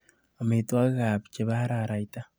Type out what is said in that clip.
Amitwogikab chebo araraita.